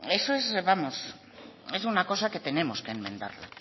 eso es una cosa que tenemos que enmendarlo